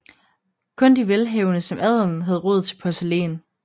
Kun de velhavende som adelen havde råd til porcelæn